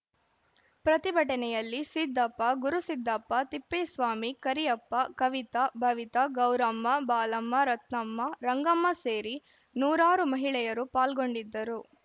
ಪ್ರತಿಭಟನೆಯಲ್ಲಿ ಸಿದ್ದಪ್ಪ ಗುರುಸಿದ್ದಪ್ಪ ತಿಪ್ಪೇಸ್ವಾಮಿ ಕರಿಯಪ್ಪ ಕವಿತಾ ಭವಿತಾ ಗೌರಮ್ಮ ಬಾಲಮ್ಮ ರತ್ನಮ್ಮ ರಂಗಮ್ಮ ಸೇರಿ ನೂರಾರು ಮಹಿಳೆಯರು ಪಾಲ್ಗೊಂಡಿದ್ದರು